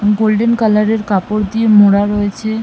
golden colour এর কাপড় দিয়ে মোড়া রয়েছে--